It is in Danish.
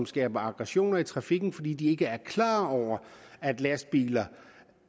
skaber aggressioner i trafikken fordi de ikke er klar over at lastbiler